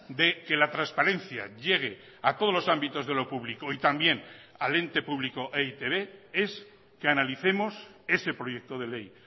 de que la transparencia llegue a todos los ámbitos de lo público y también al ente público e i te be es que analicemos ese proyecto de ley